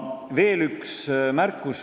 Veel üks märkus.